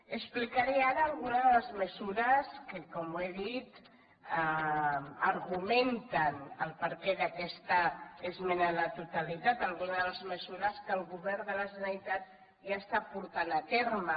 explicaré ara alguna de les mesures que com he dit argumenten el perquè d’aquesta esmena a la totalitat alguna de les mesures que el govern de la generalitat ja està portant a terme